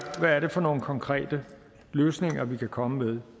for nogle konkrete løsninger vi kan komme med